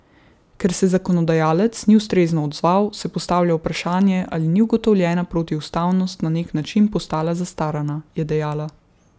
Ker se zakonodajalec ni ustrezno odzval, se postavlja vprašanje, ali ni ugotovljena protiustavnost na nek način postala zastarana, je dejala.